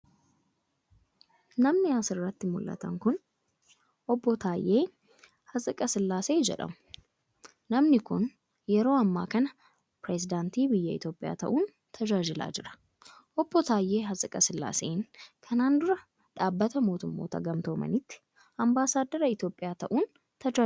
Namni as irratti mul'atan kun, obbo Taayyee Hatsiqasillaasee jedhamu. Namni kun, yeroo ammaa kana pireezidantii biyya Itoophiyaa ta'uun tajaajilaa jira. Obbo Taayyee Hatsiqesillaaseen kana dura dhaabbata mootummoota gamtoomaniitti ambaasaaddara Itoophiyaa ta'uun tajaajilaniiru.